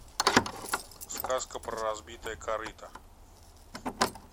сказка про разбитое корыто